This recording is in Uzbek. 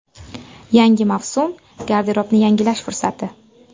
Yangi mavsum garderobni yangilash fursati.